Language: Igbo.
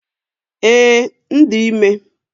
Ee, m dị ime